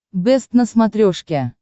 бэст на смотрешке